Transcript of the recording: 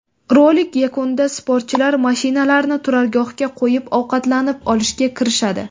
Rolik yakunida sportchilar mashinalarini turargohga qo‘yib, ovqatlanib olishga kirishadi.